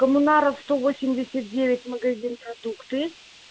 коммунаров сто восемьдесят девять магазин продукты